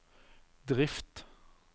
drift